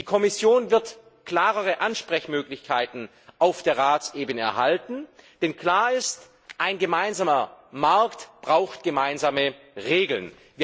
Die Kommission wird klarere Ansprechmöglichkeiten auf Ratsebene erhalten, denn klar ist Ein gemeinsamer Markt braucht gemeinsame Regeln.